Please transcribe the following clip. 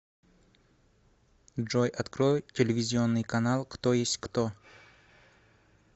джой открой телевизионный канал кто есть кто